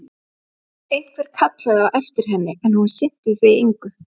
Einhver kallaði á eftir henni, en hún sinnti því engu.